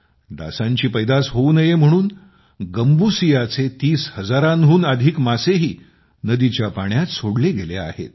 डासांची पैदास होऊ नये म्हणून गांबुसियाचे तीस हजारांहून अधिक मासेही नदीच्या पाण्यात सोडले गेले आहेत